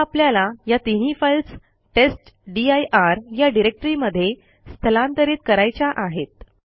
आता आपल्याला या तीनही फाईल्स टेस्टदीर या डिरेक्टरी मध्ये स्थलांतरित करायच्या आहेत